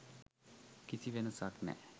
කිසි වෙනසක් නෑ